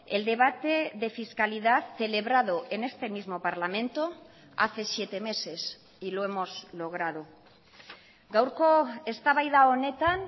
el debate de fiscalidad celebrado en este mismo parlamento hace siete meses y lo hemos logrado gaurko eztabaida honetan